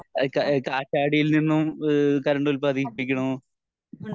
ഇഹ് ഇഹ് കാറ്റാടിയിൽ നിന്നും ഈഹ് കറണ്ട് ഉല്പാദിപ്പിക്കുന്നു